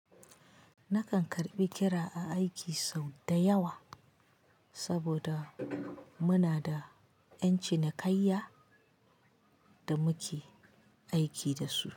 Nakan karbi kira a aiki sau da yawa saboda muna da ƴan cinikayya da muke aiki dasu.